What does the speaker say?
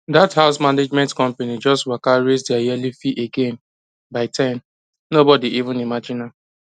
that house management company just waka raise their yearly fee again by ten nobody even imagine am